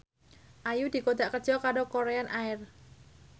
Ayu dikontrak kerja karo Korean Air